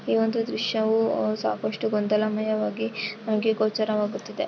ಈ ಒಂದು ದೃಶ್ಯವು ಸಾಕಷ್ಟು ಗೊಂದಲಮಯವಾಗಿದ್ದು ಹಾಗೆ ಗೋಚರವಾಗುತ್ತಿದೆ.